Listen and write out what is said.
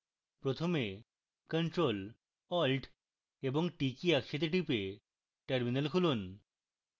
প্রথমে ctrl + alt + t key একসাথে টিপে terminal খুলুন